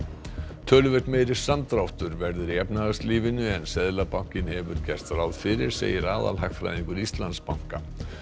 töluvert meiri samdráttur verður í efnahagslífinu en Seðlabankinn hefur gert ráð fyrir segir aðalhagfræðingur Íslandsbanka